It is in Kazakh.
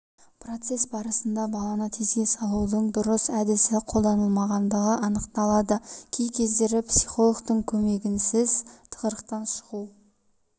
процесс барысында баланы тезге салудың дұрыс әдісі қолданылмағындығы анықталады кей кездері психологтың көмегінсіз тығырықтан шығу